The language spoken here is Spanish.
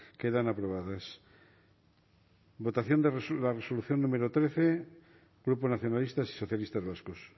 quedan aprobadas votación de la resolución número trece grupo nacionalistas y socialistas vascos